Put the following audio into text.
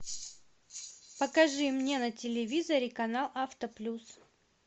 покажи мне на телевизоре канал авто плюс